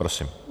Prosím.